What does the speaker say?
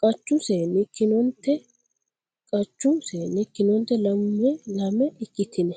Qachu seenni ikkinonte Qachu seenni ikkinonte lame lame ikkitine.